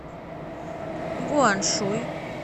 гуаншуй